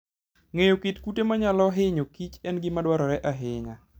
Ng'eyo kit kute manyalo hinyo Kich en gima dwarore ahinya.